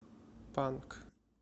панк